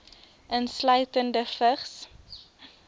insluitende vigs